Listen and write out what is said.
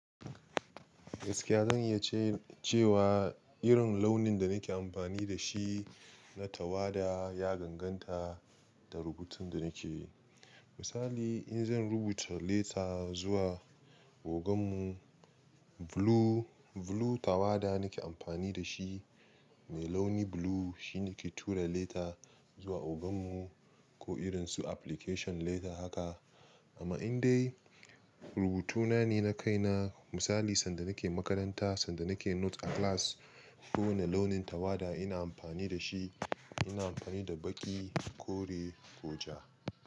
Gaskiya zan iya ce-cewa irin launin da nake amfani da shi na tawada ya gangan ta da rubutun da nake. Misali in zan rubuta leta zuwa ogan mu, blue, blue tawada nake amfani da shi, mai launi blue shine nake tura leta zuwa ogan mu ko irin su application leta haka. Amma in dai rubutuna ne na kaina misali sanda nake makaranta sanda nake note a class ko wane launin tawada ina amfani da shi, ina amfani da baƙi, kore, koja.